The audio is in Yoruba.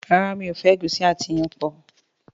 ràrá mi'o fẹ egusi àti iyán pọ.